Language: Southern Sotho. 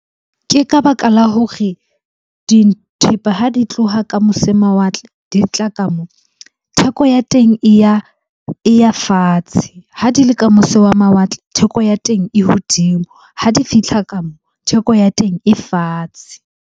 Ke ka baka la hore dithepa ha di tloha ka mose mawatle di tla ka moo. Theko ya teng e ya fatshe, ha di le ka mose wa mawatle theko ya teng e hodimo. Ha di fihla ka moo, theko ya teng e fatshe.